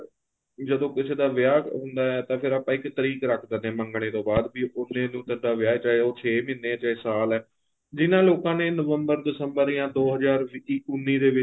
ਜਦੋਂ ਕਿਸੇ ਦਾ ਵਿਆਹ ਹੁੰਦਾ ਏ ਤਾਂ ਆਪਾਂ ਇੱਕ ਤਰੀਕ ਰੱਖ ਦਿੰਨੇ ਹਾਂ ਮੰਗਣੇ ਤੋ ਬਾਅਦ ਵੀ ਉਹਨੇ ਨੂੰ ਵਿਆਹ ਏ ਚਾਹੇ ਉਹ ਚੇ ਮਹੀਨੇ ਏ ਚਾਹੇ ਸਾਲ ਏ ਜਿੰਨਾ ਲੋਕਾਂ ਨੇ ਨਵੰਬਰ ਦਸੰਬਰ ਜਾਂ ਦੋ ਹਜ਼ਾਰ ਉੰਨੀ ਦੇ ਵਿੱਚ